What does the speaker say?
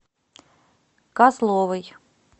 козловой